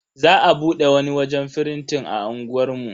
Za a bude wani wajen firintin a unguwar mu.